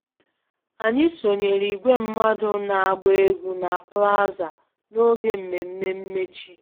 Anyị sonyeere igwe mmadụ na-agba egwu na plaza n'oge mmemme mmechi